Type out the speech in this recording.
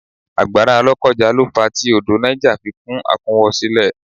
Àgbàrá lokoja lo fa tí odò Niger fi kún àkúnwọ́sílẹ̀